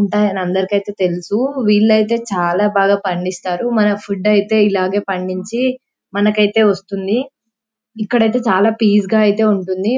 ఉంటాయని అందరికి ఐతే తెలుసు వీలైతే చాల బాగా పండిస్తారు మన ఫుడ్ ఐతే ఇలాగె పండించి మనకైతే వస్తుంది ఇక్కడైతే చాల పీస్ గా ఐతే ఉంటుంది .